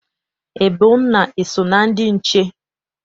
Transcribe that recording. Ebona eso na ndị nche?